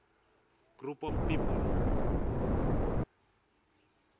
group of people